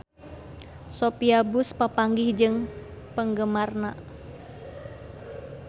Sophia Bush papanggih jeung penggemarna